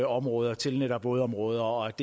områder til netop vådområder og